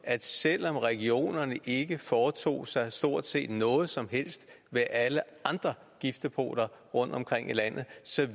at selv om regionerne ikke foretog sig stort set noget som helst ved alle andre giftdepoter rundtomkring i landet